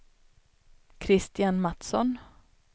Kristian Mattsson